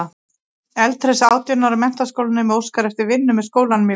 Eldhress átján ára menntaskólanemi óskar eftir vinnu með skólanum í vetur.